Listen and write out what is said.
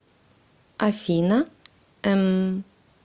афина эмм